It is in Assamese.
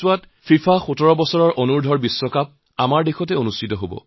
ফিফা ১৭ বছৰ অনূৰ্ধ্ব বিশ্বকাপ আমাৰ দেশত অনুষ্ঠিত হব